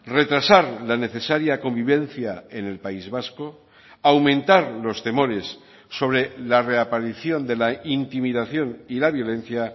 retrasar la necesaria convivencia en el país vasco aumentar los temores sobre la reaparición de la intimidación y la violencia